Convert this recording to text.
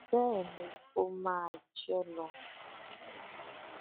bẹẹ ni kó máa jẹ ẹ́ lọ